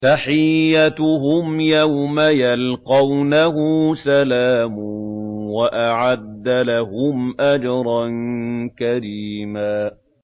تَحِيَّتُهُمْ يَوْمَ يَلْقَوْنَهُ سَلَامٌ ۚ وَأَعَدَّ لَهُمْ أَجْرًا كَرِيمًا